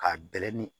K'a bɛlɛ ni